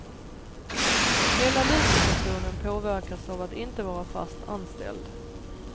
Hela livssituationen påverkas av att inte vara fast anställd.